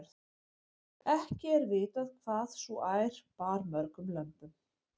ekki er vitað hvað sú ær bar mörgum lömbum